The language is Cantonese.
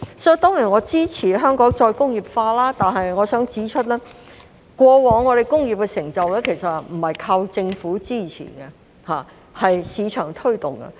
我當然支持香港再工業化，但我想指出，過往香港在工業的成就不單靠政府支持，而是市場的推動。